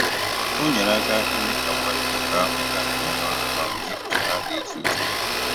O nyere aka ime ka mkparịta ụka ahụ gaa nke ọma ma mgbe echiche ha dị iche iche